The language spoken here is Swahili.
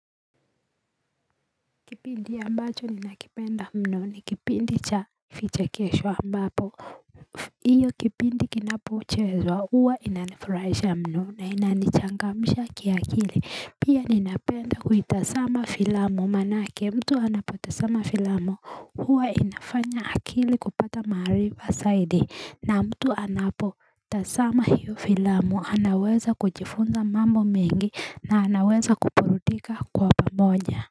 Kipindi ambacho ninakipenda mno ni kipindi cha vichekesho ambapo Iyo kipindi kinapochezwa huwa inanifurahisha mno na inanichangamsha kiakili Pia ninapenda kuitazama filamu maanake mtu anapotazama filamu huwa inafanya akili kupata maarifa zaidi na mtu anapotazama hiyo filamu anaweza kujifunza mambo mengi na anaweza kuburudika kwa pamoja.